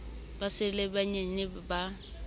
ba sa le banyenyane ba